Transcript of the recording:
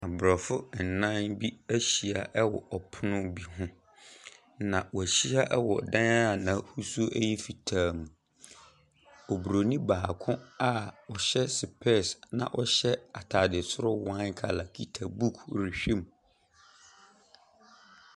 Aborɔfo ɛnan bi ehyia ɛwɔ ɔpono bi ho. Na w'ehyia ɛwɔ dan a n'ahosuo ɛyɛ fitaa. Obroni baako a ɔhyɛ spɛs na ɔhyɛ ataade soro waen kala kita buk rehwɛ mu.